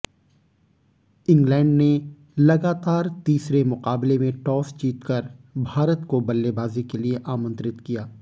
England ने लगातार तीसरे मुकाबले में टॉस जीतकर भारत को बल्लेबाजी के लिए आमंत्रित किया